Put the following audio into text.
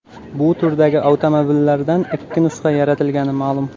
Bu turdagi avtomobillardan ikki nusxa yaratilgani ma’lum.